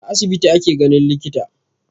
A asibiti ake ganin likita